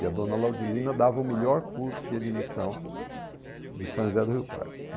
E a dona Laudilina dava o melhor curso de admissão de São José do Rio Pardo.